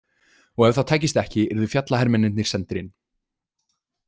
Og ef það tækist ekki yrðu fjallahermennirnir sendir inn.